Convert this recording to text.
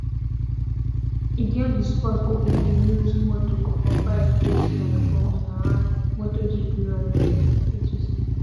e get di sport wey dem de use motor or bike race like formula one motor gp rally racing etc